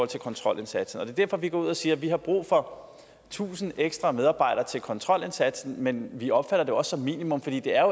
til kontrolindsatsen det er derfor at vi går ud og siger at vi har brug for tusind ekstra medarbejdere til kontrolindsatsen men vi opfatter det også som et minimum fordi det